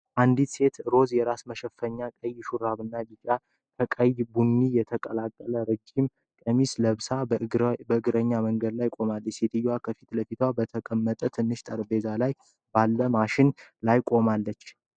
አንዲት ሴት ሮዝ የራስ መሸፈኛ፣ ቀይ ሹራብ እና ቢጫ ከቀይ ቡኒ የተቀላቀለ ረጅም ቀሚስ ለብሳ በእግረኛ መንገድ ላይ ቆማለች። ሴትየዋ ከፊት ለፊቷ በተቀመጠ ትንሽ ጠረጴዛ ላይ ባለው ማሽን ላይ ቁማለች፡፡